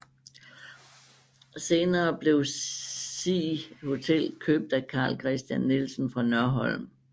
Senere blev Sig Hotel købt af Karl Kristian Nielsen fra Nørholm